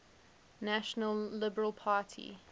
national liberal party